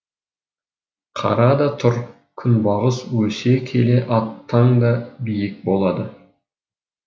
қара да тұр күнбағыс өсе келе аттан да биік болады